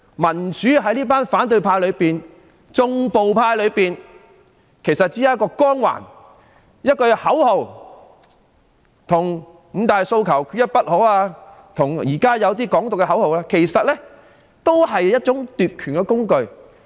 民主於這群反對派而言，也只不過是一個光環、一句口號，與"五大訴求，缺一不可"及現時一些提倡"港獨"的口號無異，只是一種奪權的工具。